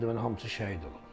Deməli hamısı şəhid olub.